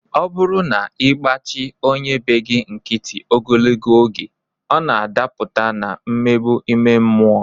Ọ bụrụ na ị gbachi onye be gị nkịtị ogologo oge, ọ na-adapụta na mmegbu ime mmụọ